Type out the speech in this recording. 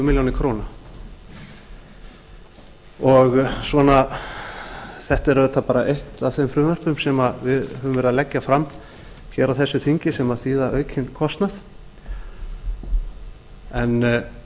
milljónir króna þetta er auðvitað eitt af þeim frumvörpum sem við höfum verið að leggja fram á þessu þingi sem þýða aukinn kostnað en